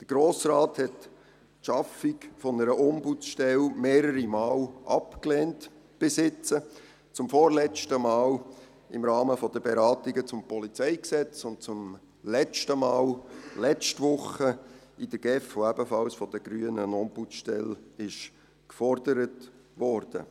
Der Grosse Rat hat die Schaffung einer Ombudsstelle bisher mehrere Male abgelehnt, zum vorletzten Mal im Rahmen der Beratungen zum PolG und zum letzten Mal letzte Woche in der GEF, wo ebenfalls von den Grünen eine Ombudsstelle gefordert wurde.